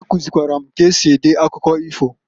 Ya kuzilikwara m k'esi ede akụkọ ifo.